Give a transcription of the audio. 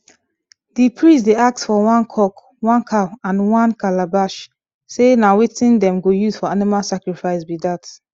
the priest dey ask for one cock one cow and one calabash say na wetin them go use for animal sacrifice be that